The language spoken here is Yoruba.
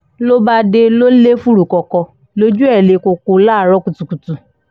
ló bá dé lọ lè fúrúkọ́kọ́ lójú ẹ̀ le koko láàárọ̀ kùtù